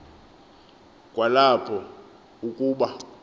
kwa lapho ukuba